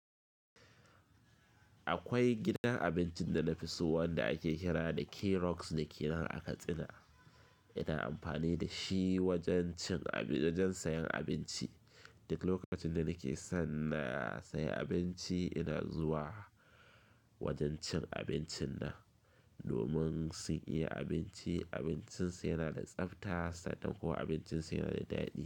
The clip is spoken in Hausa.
Akwai gidan abincin da na fi so wanda ake kira da K-rocks dake nan a Katsina. Ina amfani da shi wajen cin-- wajen sayen abinci. Duk lokacin da nake son na sayi abinci ina zuwa wajen cin abincin nan domin sun iya abinci. Abincinsu yana da tsabta sannan kuma abincinsu yana da daɗi.